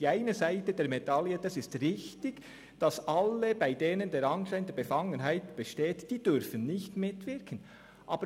Die eine Seite der Medaille – das ist richtig – ist, dass alle, bei denen der Anschein der Befangenheit besteht, nicht mitwirken dürfen.